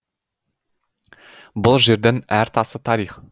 бұл жердің әр тасы тарих